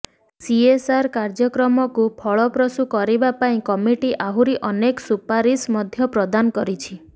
CSR କାର୍ଯ୍ୟକ୍ରମକୁ ଫଳପ୍ରସୂ କରିବା ପାଇଁ କମିଟି ଆହୁରି ଅନେକ ସୁପାରିସ ମଧ୍ୟ ପ୍ରଦାନ କରିଛି